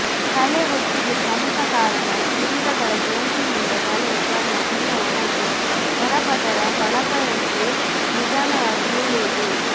ತಲೆಹೊಟ್ಟಿಗೆ ಪ್ರಮುಖ ಕಾರಣ ಶಿಲೀಂಧ್ರಗಳ ಸೋಂಕಿನಿಂದ ತಲೆಯ ಚರ್ಮ ತೀರಾ ಒಣಗಿ ಹೊರಪದರ ಪಕಳೆಯಂತೆ ನಿಧಾನವಾಗಿ ಏಳುವುದು